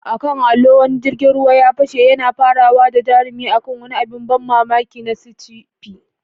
A kan allo, wani jirgin ruwa ya fashe, yana farawa da jarumi a kan wani abin ban mamaki na sci-fi.